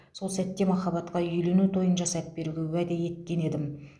сол сәтте махаббатқа үйлену тойын жасап беруге уәде еткен едім